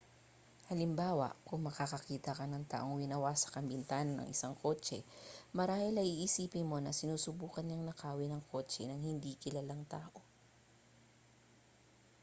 halimbawa kung makakakita ka ng taong winawasak ang bintana ng isang kotse marahil ay iisipin mo na sinusubukan niyang nakawin ang kotse ng hindi kilalang tao